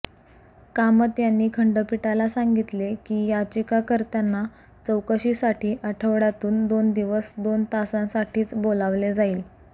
कामत यांनी खंडपीठाला सांगितले की याचिकाकर्त्याना चौकशीसाठी आठवडय़ातून दोन दिवस दोन तासांसाठीच बोलावले जाईल